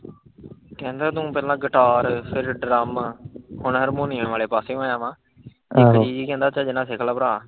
ਕਹਿੰਦਾ ਤੂੰ ਪਹਿਲਾਂ ਗਿਟਾਰ, ਫਿਰ ਡਰੰਮ, ਹੁਣ ਹਾਰਮੋਨੀਅਮ ਵਾਲੇ ਪਾਸੇ ਹੋਇਆ ਵਾ, ਇੱਕ ਚੀਜ਼ ਚੱਜ ਨਾਲ ਸਿੱਖ ਲੈ ਭਰਾ।